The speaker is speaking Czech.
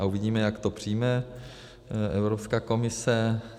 A uvidíme, jak to přijme Evropská komise.